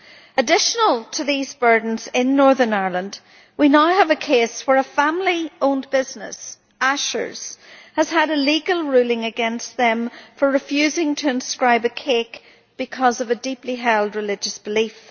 In addition to these burdens, in Northern Ireland we now have a case where a family owned business, Ashers, has had a legal ruling against it for refusing to inscribe a cake because of a deeply held religious belief.